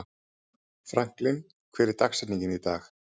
Franklin, hver er dagsetningin í dag?